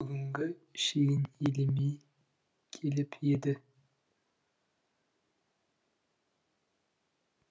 бүгінге шейін елемей келіп еді